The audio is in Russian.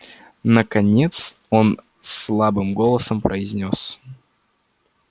наконец он слабым голосом произнёс